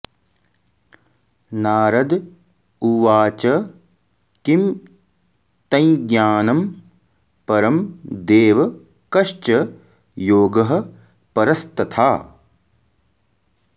नारद उवाच किं तञ्ज्ञानं परं देव कश्च योगः परस्तथा